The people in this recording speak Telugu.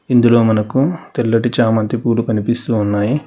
ఇందులో మనకు తెల్లటి చామంతి పూలు కనిపిస్తూ ఉన్నాయి.